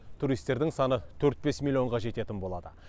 туристердің саны төрт бес миллионға жететін болады